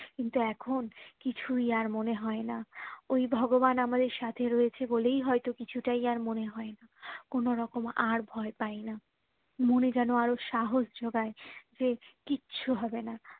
কিন্তু এখুন কিছুই আর মনে হয় না ওই ভগবান আমাদের সাথে রয়েছে বলেই হয়তো কিছুতেই আর মনে হয় না কোনোরকম আর ভয় পাইনা মনে যেন আরো সাহস জোগায় যে কিচ্ছু হবে না